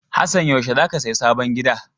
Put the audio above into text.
Hassan, yaushe za ka saya sabon gidan?